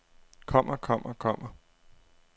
kommer kommer kommer